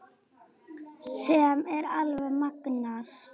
Sem er alveg magnað.